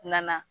Na